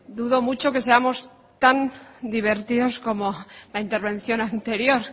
dudo mucho que seamos tanto divertidos como la intervención anterior